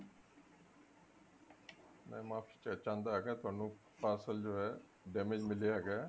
ਮੈਂ ਮਾਫ਼ੀ ਚਾਹੁੰਦਾ ਹਾਂ ਤੁਹਾਨੂੰ parcel ਜੋ ਹੈ damage ਮਿਲਿਆ ਹੈਗਾ